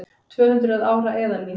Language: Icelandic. Tvöhundruð ára eðalvín